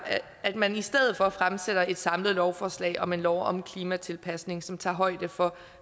at man i stedet for fremsætter et samlet lovforslag om en lov om klimatilpasning som tager højde for